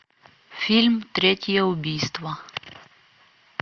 фильм третье убийство